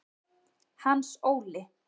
Hans Óli